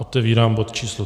Otevírám bod číslo